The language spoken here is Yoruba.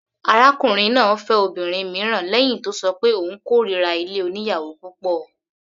Arákùnrin náà fẹ́ obìnrin mìíràn lẹ́hìn tó ṣọ pé òun kórira ilé oníyàwò púpọ̀.